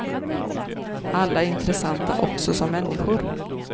Alla är intressanta också som människor.